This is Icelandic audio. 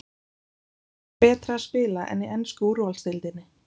Hvar er betra að spila en í ensku úrvalsdeildinni?